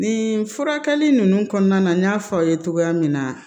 Nin furakɛli ninnu kɔnɔna na n y'a fɔ aw ye cogoya min na